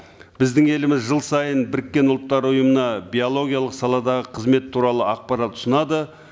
біздің еліміз жыл сайын біріккен ұлттар ұйымына биологиялық саладағы қызмет туралы ақпарат ұсынады